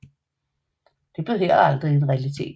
Det blev heller aldrig en realitet